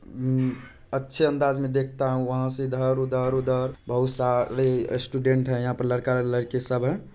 उम-- अच्छे अंदाज में देखता हूँ वहा से इधर उधर उधर बहुत सारे ही स्टूडेंट है यहाँ पे लड़का लड़की सब है।